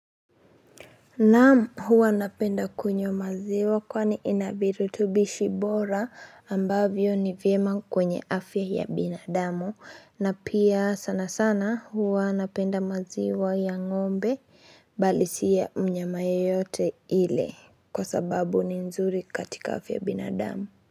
Naam huwa napenda kunywa maziwa kwani ina virutubishi bora ambavyo ni vyema kwenye afya ya binadamu na pia sana sana huwa napenda maziwa ya ng'ombe bali si ya mnyama yeyote yule kwa sababu ni nzuri katika afya ya binadamu.